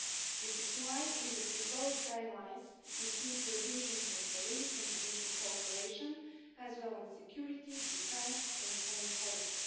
This is why in the proposed guidelines you see provisions on police and judicial cooperation, as well as on security, defence and foreign policy.